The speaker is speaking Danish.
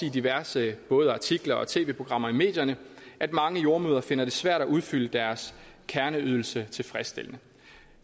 i diverse artikler og tv programmer i medierne at mange jordemødre finder det svært at udføre deres kerneydelser tilfredsstillende